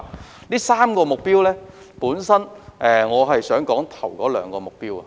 就這3個目標，我想探討首兩個目標。